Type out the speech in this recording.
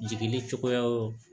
Jigini cogoyaw